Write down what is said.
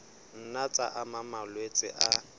nna tsa ama malwetse a